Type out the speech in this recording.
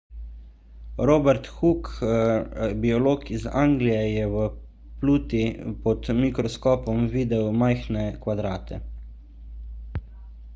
robert hooke biolog iz anglije je v pluti pod mikroskopom videl majhne kvadrate